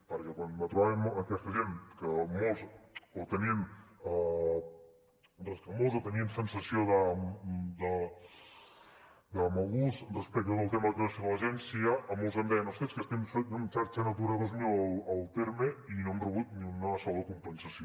perquè quan trobàvem aquesta gent que molts tenien recança o tenien sensació de mal gust respecte del tema de creació de l’agència molts em deien ostres és que estem en xarxa natura dos mil al terme i no hem rebut ni una sola compensació